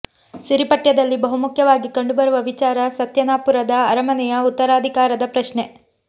ಸಿರಿ ಪಠ್ಯದಲ್ಲಿ ಬಹುಮುಖ್ಯವಾಗಿ ಕಂಡುಬರುವ ವಿಚಾರ ಸತ್ಯನಾಪುರದ ಅರಮನೆಯ ಉತ್ತರಾಧಿಕಾರದ ಪ್ರಶ್ನೆ